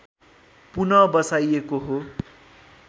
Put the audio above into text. पुन बसाइएको हो